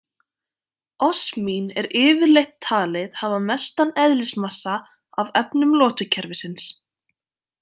Osmín er yfirleitt talið hafa mestan eðlismassa af efnum lotukerfisins.